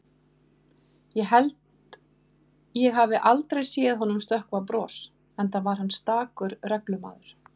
Ég held ég hafi aldrei séð honum stökkva bros, enda var hann stakur reglumaður.